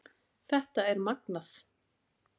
Þetta er magnað